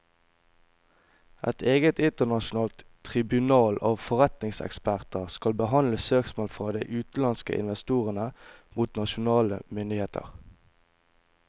Et eget internasjonalt tribunal av forretningseksperter skal behandle søksmål fra de utenlandske investorene mot nasjonale myndigheter.